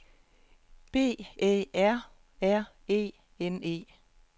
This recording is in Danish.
B Æ R R E N E